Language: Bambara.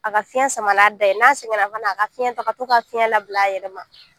A ka fiɲɛ sama n'a da ye, n'a sɛgɛnna fana a ka na a ka fiɲɛ ta, ka to ka fiɲɛ labila a yɛrɛ ma.